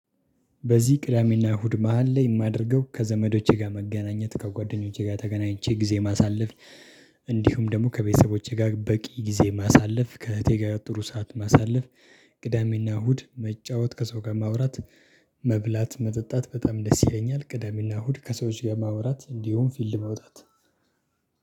በዚህ ቅዳሜና እሁድ መሃል ላይ የማደርገው ከዘመዶቼ ጋር መገናኘት ከጓደኞቼ ጋር ተገናኝቼ ጊዜ ማሳለፍ። እንዲሁም ደግሞ ከቤተሰቦቼ ጋር በቂ ጊዜ ማሳለፍ ከእህቴ ጋር ጥሩ ሰዓት ማሳለፍ። ቅዳሜና እሁድ መጫወት ከሰው ጋር ማውራት። መብላት መጠጣት በጣም ደስ ይለኛል። ቅዳሜና እሁድ ከሰዎች ጋር ማውራት እንዲሁም ፊልድ መውጣት።